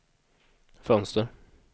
fönster